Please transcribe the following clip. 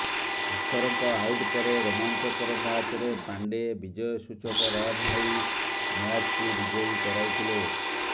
ଶିଖରଙ୍କ out ପରେ ରୋମାଞ୍ଚକର ମ୍ୟାଚରେ ପାଣ୍ଡେ ବିଜୟ ସୂଚକ ରନ ନେଇ ମ୍ୟାଚକୁ ବିଜୟୀ କରାଇଥିଲେ